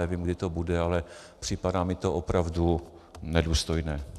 Nevím, kdy to bude, ale připadá mi to opravdu nedůstojné.